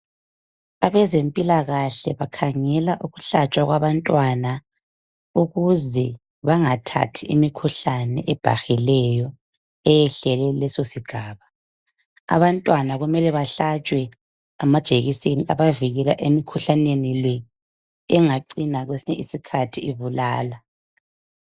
Abezempilakahle bakhangela ukuhlatshwa kwabantwana ukuze , bangathathi imikhuhlane ebhahileyo .Eyehlele kuleso sigaba . Abantwana kumele bahlatshwe amajekiseni abavikela emikhuhlaneni le ,engacina kwesinye sikhathi ibulala.